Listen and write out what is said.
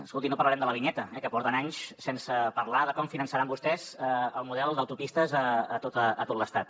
escolti no parlarem de la vinyeta que porten anys sense parlar de com finançaran vostès el model d’autopistes a tot l’estat